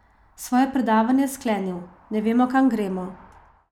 Svoje predavanje je sklenil: "Ne vemo, kam gremo.